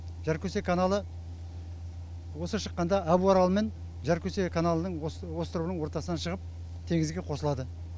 жаркөсе каналы осы шыққанда абуарал мен жаркөсе каналының островының ортасынан шығып теңізге қосылады